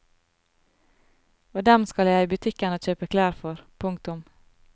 Og dem skal jeg i butikken og kjøpe klær for. punktum